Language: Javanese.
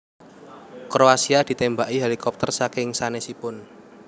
Kroasia ditembaki helikopter saking sanesipun